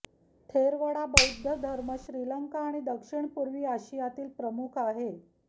थेरवडा बौद्ध धर्म श्रीलंका आणि दक्षिणपूर्वी आशियातील प्रमुख आहे